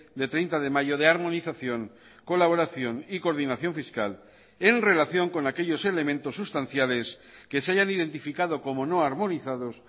de treinta de mayo de armonización colaboración y coordinación fiscal en relación con aquellos elementos sustanciales que se hayan identificado como no armonizados